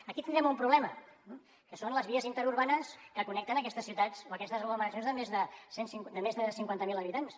aquí tindrem un problema eh que són les vies interurbanes que connecten aquestes ciutats o aquestes aglomeracions de més de cinquanta mil habitants